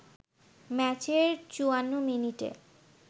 ম্যাচের ৫৪ মিনিটে